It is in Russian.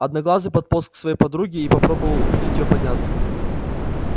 одноглазый подполз к своей подруге и попробовал убедить её подняться